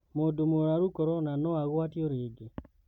Maũndũ mũrũaru Korona noaguatio rĩngĩ?